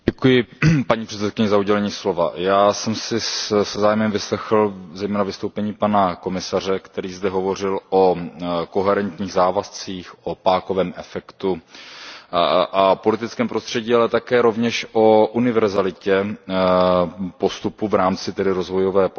Paní předsedající, já jsem si se zájmem vyslechl zejména vystoupení pana komisaře, který zde hovořil o koherentních závazcích, o pákovém efektu a politickém prostředí, ale také rovněž o univerzalitě postupu v rámci rozvojové pomoci